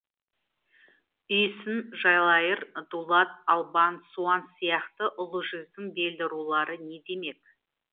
үйсін жалайыр дулат албан суан сияқты ұлы жүздің белді рулары не демек